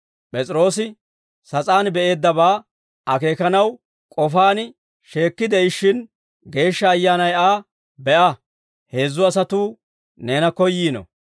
P'es'iroosi sas'aan be'eeddabaa akeekanaw k'ofaan sheekkide'ishshin, Geeshsha Ayyaanay Aa, «Be'a, heezzu asatuu neena koyyiino;